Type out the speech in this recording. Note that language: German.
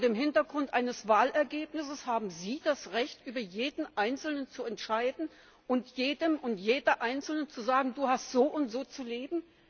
Haben Sie vor dem Hintergrund eines Wahlergebnisses das Recht, über jeden einzelnen zu entscheiden und jedem und jeder einzelnen zu sagen, du hast so und so zu leben?